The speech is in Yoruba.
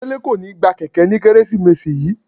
Dele ko ni gba kẹkẹ ni Keresimesi yii.